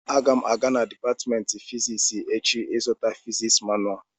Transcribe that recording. Aga m aga na dịpatmentị nke fiziks echi ịzụta fiziks manua